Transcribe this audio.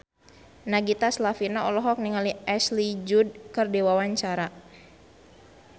Nagita Slavina olohok ningali Ashley Judd keur diwawancara